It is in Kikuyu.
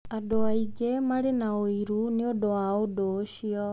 Andũ aingĩ maarĩ na ũiru nĩ ũndũ wa ũndũ ũcio.